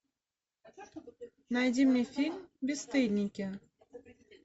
найди мне фильм бесстыдники